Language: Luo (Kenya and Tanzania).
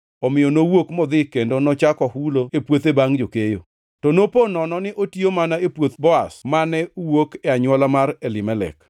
Omiyo nowuok modhi kendo nochako hulo e puothe bangʼ jokeyo. To nopo nono ni otiyo mana e puoth Boaz, mane wuok e anywola mar Elimelek.